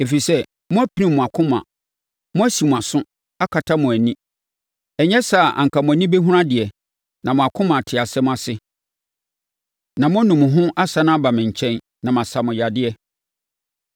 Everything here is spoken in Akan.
ɛfiri sɛ mo, moapirim mo akoma; moasi mo aso, akatakata mo ani. Ɛnyɛ saa a anka mo ani bɛhunu adeɛ, na mo akoma ate asɛm ase, na moanu mo ho asane aba me nkyɛn, na masa mo yadeɛ.”